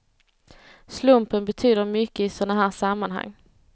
Slumpen betyder mycket i såna här sammanhang.